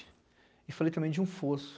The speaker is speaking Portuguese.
E falei também de um fosso.